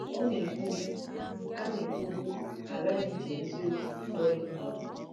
Ọ na-ekwubu, “A na-ekwubu, “A ghaghị iji eziokwu kpọrọ ihe.